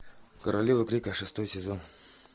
королева крика шестой сезон